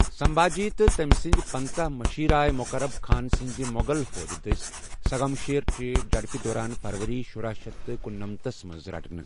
سنبھاجی تہٕ تٕمۍ سٕندۍ پٕنژھٕ مُشیر آیہ مقرب خان سٕندِ مُغل فوجہِ دٕسۍ سنگمیشورچہِ جھڈپہِ دوران فروری شُراہ شیتھ تہٕ کنُنَمنتھ تھس منز رٹنہٕ ۔